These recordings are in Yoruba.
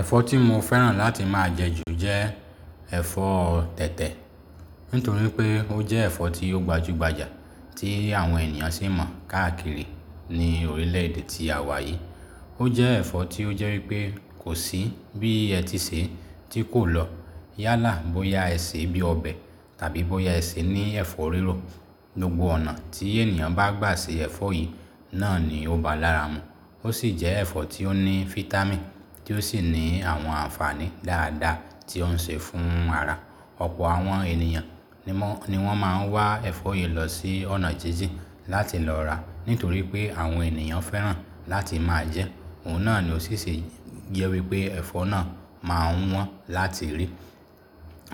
Ẹ̀fọ́ tí mo fẹ́ràn láti máa jẹ jù jẹ́ ẹ̀fọ́ tẹ̀tẹ̀. Nítorí pé, ó jẹ́ ẹ̀fọ́ tí ó gbajúgbajà, tí àwọn ènìyàn sì mọ̀ káàkiri ní orílẹ̀-èdè tí a wà yìí. Ó jẹ́ ẹ̀fọ́ tí ó jẹ́ wípé kò sí bí ẹ ti ṣe tí kò lọ. Yálà bóyá ẹ sè bí i ọbẹ̀ tàbí bóyá ẹ sè ní ẹ̀fọ́ rírò. Gbogbo ọ̀nà tí ènìyàn bá gbà ṣe ẹ̀fọ́ yìí náà ni ó bá lára mu. Ó sì jẹ́ ẹ̀fọ́ tí ó ní fítámìn, tí ó sì ní àwọn ànfàní dáadáa tí ó ń ṣe fún ara. Ọ̀pọ̀ àwọn ènìyàn ni wọ́n máa ń wá ẹ̀fọ́ yìí lọ sí ọ̀nà jíjìn láti lọ rà. Nítorí pé, àwọn ènìyàn fẹ́ràn láti máa jẹ ẹ́. Ohun náà ni ló sì ṣe jẹ wípé ẹ̀fọ́ náà máa wọ́n láti rí.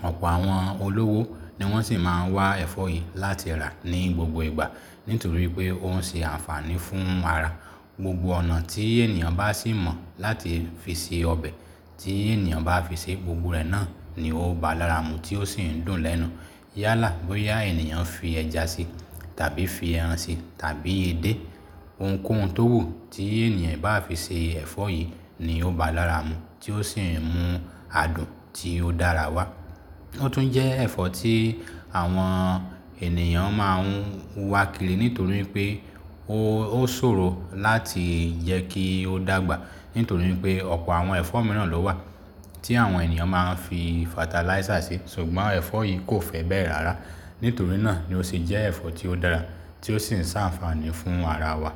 Ọ̀pọ̀ àwọn olówó ni wọ́n sì máa ń wá ẹ̀fọ́ yìí láti rà ní gbogbo ìgbà. Nítorí pé ó ń ṣe ànfàní fún ara. Gbogbo ọ̀nà tí ènìyàn bá sì mọ̀ láti fi se ọbẹ̀, tí ènìyàn bá fi ṣe, gbogbo rẹ̀ náà ni ó bá lára mu, tí ó sì ń dùn lẹ́nu. Yálà bóyá ènìyàn fi ẹja sí tàbí fi ẹran sí tàbí edé ohunkóhun tó wù tí ènìyàn bá fi ṣe ẹ̀fọ́ yìí, ni ó bá lára mu tí ó sì ń mú adùn tí ó dára wá. Ó tún jẹ́ ẹ̀fọ́ tí àwọn ènìyàn máa ń wakìrì. Nítorí pé, ó ṣòro láti jẹ kí ó dàgbà. Nítorí pé, ọ̀pọ̀ àwọn ẹ̀fọ́ mìíràn ló wà, tí àwọn ènìyàn máa ń fi fatalaísà ṣe. Ṣùgbọ́n ẹ̀fọ́ yìí kò fẹ́ bẹ́ẹ̀ rárá. Nítorí náà ni ó sì jẹ́ ẹ̀fọ́ tí ó dára, tí ó sì ń ṣe ànfàní fún ara wa.